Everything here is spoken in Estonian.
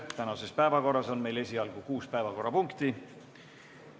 Tänases päevakorras on meil esialgu kuus punkti.